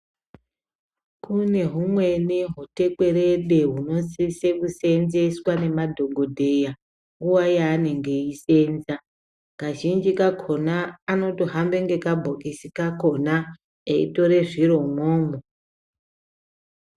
Kune humweni hutekwerede hunosise kuseenzeswa nemadhokodheya nguwa yaanenge eisenza kazhinji kakona vanotohamba nekabhokis kakona veitora zviro umwomwo.